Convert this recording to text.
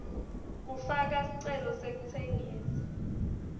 kufaka sicelo sekutsengisa